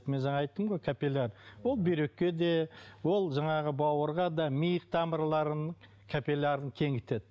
мен жаңа айттым ғой капилляр ол бүйрекке де ол жаңағы бауырға да ми тамырларының капиллярын кеңейтеді